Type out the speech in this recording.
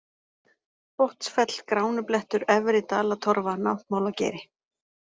Botnsfell, Gránublettur, Efri-Dalatorfa, Náttmálageiri